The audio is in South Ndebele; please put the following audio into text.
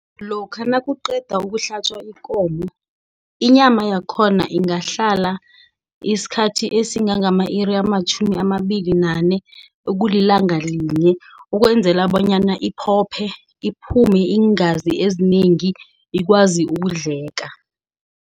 Lokha nakuqedwa ukuhlatjwa ikomo. Inyama yakhona ingahlala isikhathi esingange ama-iri amatjhumi amabili nane. Ekulilanga linye, ukwenzela bonyana iphophe. Iphume iingazi ezinengi, ikwazi ukudleka.